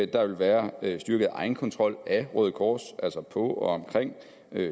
der vil være styrket egenkontrol af røde kors altså på og omkring